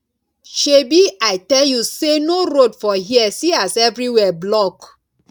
shebi i tell you say no road for here see as everywhere block